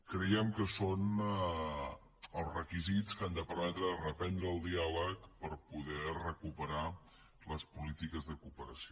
creiem que són els requisits que han de permetre reprendre el diàleg per poder recuperar les polítiques de cooperació